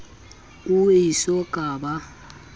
o e so ka ba